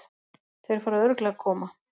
Þeir fara örugglega að koma.